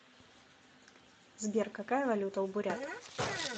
сбер какая валюта у бурят